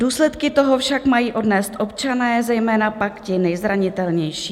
Důsledky toho však mají odnést občané, zejména pak ti nejzranitelnější.